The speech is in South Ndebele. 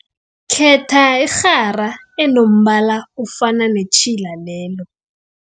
Khetha irhara enombala ofana netjhila lelo.